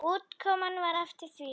Útkoman var eftir því.